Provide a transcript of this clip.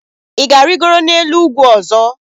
Ị ga-arịgoro n'elu ugwu ọzọ?